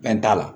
Fɛn t'a la